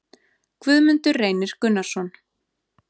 Guðmundur Reynir Gunnarsson